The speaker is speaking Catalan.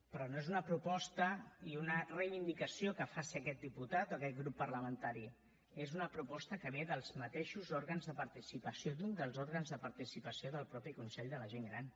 però no és una proposta ni una reivindicació que faci aquest diputat o aquest grup parlamentari és una proposta que ve dels mateixos òrgans de participació d’un dels òrgans de participació del mateix consell de la gent gran